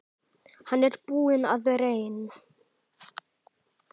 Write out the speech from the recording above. Hann er búinn að reyn